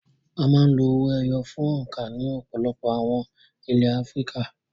A máa ń lo owó ẹyọ fún òǹkà ní ọ̀pọ̀lọpọ̀ àwọn ilẹ̀ Áfíríkà.